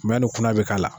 ni kɔnɔ bɛ k'a la